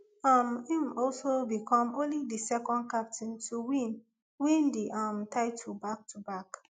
um im also become only di second captain to win win di um title backtoback